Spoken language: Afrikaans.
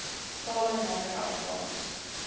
tale naamlik afrikaans